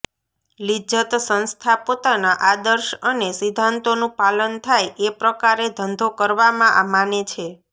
લિજ્જત સંસ્થા પોતાના આદર્શ અને સિદ્ધાંતોનું પાલન થાય એ પ્રકારે ધંધો કરવામાં માને છે